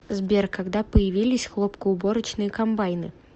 сбер когда появились хлопкоуборочные комбайны